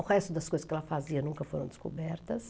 O resto das coisas que ela fazia nunca foram descobertas.